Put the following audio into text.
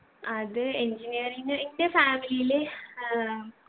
അത് engineering എൻ്റെ family ല് ഏർ